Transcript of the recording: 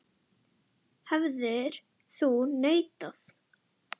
Hefðir þú neitað?